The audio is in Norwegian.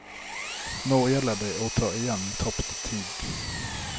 Nå gjelder det å ta igjen tapt tid.